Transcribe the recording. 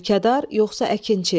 Mülkədar, yoxsa əkinçi?